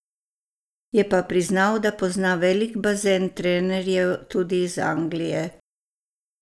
Je pa priznal, da pozna velik bazen trenerjev, tudi iz Anglije.